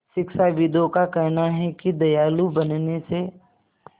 शिक्षाविदों का कहना है कि दयालु बनने से